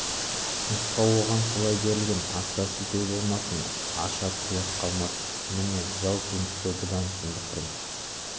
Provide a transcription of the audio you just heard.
нұсқау оған солай берілген асыра сілтеу болмасын аша тұяқ қалмасын міне жау принципі бұдан сұмдық принцип